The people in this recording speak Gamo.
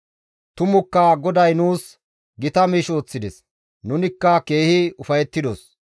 Tumukka GODAY nuus gita miish ooththides; nunikka keehi ufayettidos.